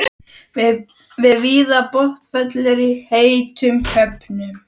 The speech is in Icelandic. sem víða botnfellur í heitum höfum.